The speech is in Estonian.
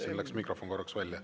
Siin läks mikrofon korraks välja.